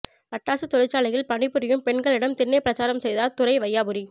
பட்டாசு தொழிற்சாலையில் பணிபுரியும் பெண்களிடம் திண்ணை பிரசாரம் செய்தார் துரை வையாபுரி